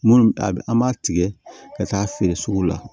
Munnu a bɛ an b'a tigɛ ka taa feere sugu la